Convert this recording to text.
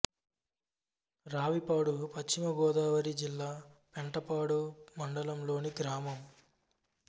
రావిపాడు పశ్చిమ గోదావరి జిల్లా పెంటపాడు మండలం లోని గ్రామం